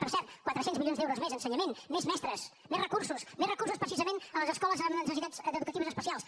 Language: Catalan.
per cert quatre cents milions d’euros més a ensenyament més mestres més recursos més recursos precisament a les escoles amb necessitats educatives especials